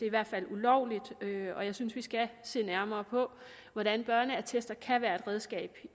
i hvert fald ulovligt og jeg synes vi skal se nærmere på hvordan børneattester kan være et redskab